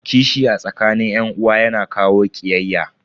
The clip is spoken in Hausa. Kishi a tsakanin yan uwa yana kawo kiyayya.